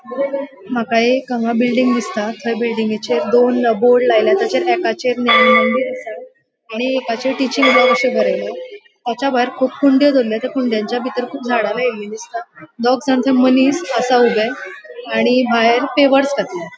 मका एक हांगा बिल्डिंग दिसता थंय बिल्डिंगचेर दोन बोर्ड लायला तचा आसा आणि बोरेल ताचे वयर कुब कुंडे दोवरलेले त्या कुंड्याच्याभितर कुब झाडा लायली दिसता दोगजाण थंय मनिस आसा ऊबे आणि भायर पेवर्स --